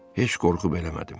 Heç qorxub eləmədim.